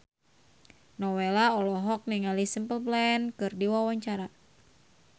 Nowela olohok ningali Simple Plan keur diwawancara